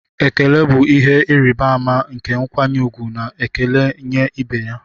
Ekele bụ ihe ịrịba ama nke nkwanye ùgwù na ekele nye ibe ya